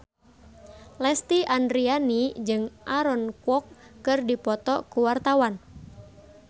Lesti Andryani jeung Aaron Kwok keur dipoto ku wartawan